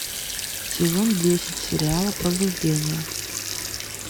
сезон десять сериала пробуждение